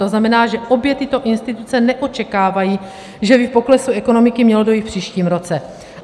To znamená, že obě tyto instituce neočekávají, že by k poklesu ekonomiky mělo dojít v příštím roce.